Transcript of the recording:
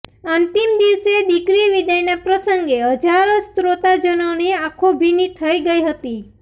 અંતિમ દિવસે દીકરી વિદાયના પ્રસંગે હજારો શ્રોતાજનોની આંખો ભીની થઈ ગઈ હતી